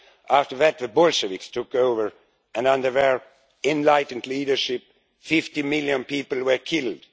After that the Bolsheviks took over, and under their enlightened leadership 50 million people were killed.